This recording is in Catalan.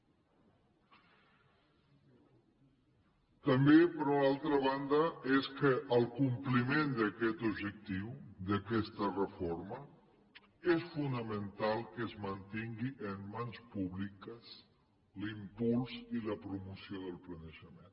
també per una altra banda és que per al compliment d’aquest objectiu d’aquesta reforma és fonamental que es mantinguin en mans públiques l’impuls i la promoció del planejament